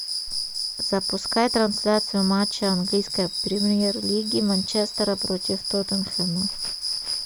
запускай трансляцию матча английской премьер лиги манчестера против тоттенхэма